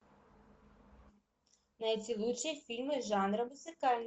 найти лучшие фильмы жанра музыкальный